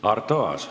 Arto Aas.